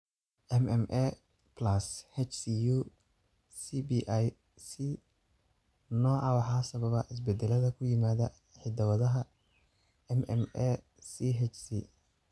MMA+HCU cblC nooca waxaa sababa isbeddellada ku yimaadda hidda-wadaha MMACHC.